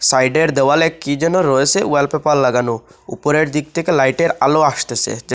সাইডের দেওয়ালে কি যেন রয়েসে ওয়ালপেপার লাগানো উপরের দিক থেকে লাইটের আলো আসতেসে।